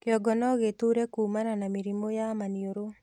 Kĩongo nogĩtuure kumana na na mĩrimũ ya maniũrũ